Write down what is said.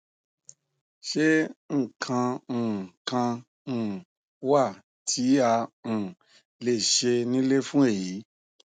ṣé nǹkan um kan um wà tí a um lè ṣe nílé fún èyí